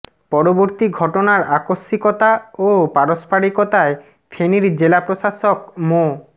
পরবর্তী ঘটনার আকস্মিকতা ও পারস্পরিকতায় ফেনীর জেলা প্রশাসক মো